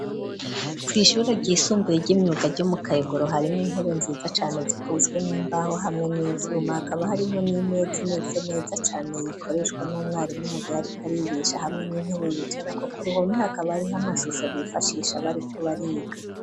Kwu ishure ryisumbuye ry'imyuga ryo mu kayogoro harimo intebe nziza cane zikozwe n'imbaho hamwe n'ivyuma. Hakaba harimo n'imeze neza cane ikoreshwa n'umwarimu mu gihe ariko arigisha hamwe n'intebe yicara kuko ruhome hakaba ariho amashusho bifashisha bari ko bariga.